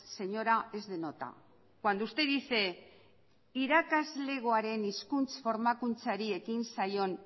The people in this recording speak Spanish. señora es de nota cuando usted dice irakasleagoaren hizkuntza formakuntzari ekin zaion